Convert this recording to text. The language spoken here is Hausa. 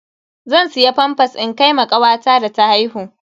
Zan siya famfas in kai ma kawata da ta haihu.